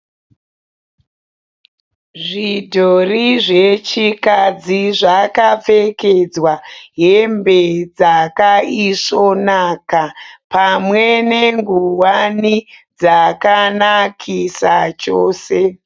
Zvidhori zvechikadzi zvakapfekedzwa hembe dzakaisvonaka pamwe nenguwani dzakanakisa chose.